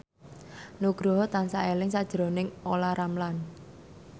Nugroho tansah eling sakjroning Olla Ramlan